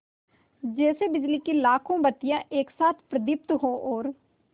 जैसे बिजली की लाखों बत्तियाँ एक साथ प्रदीप्त हों और